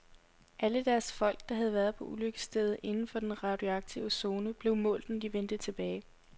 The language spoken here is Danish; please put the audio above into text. Alle deres folk, der havde været på ulykkesstedet inden for den radioaktive zone, blev målt, når de vendte tilbage.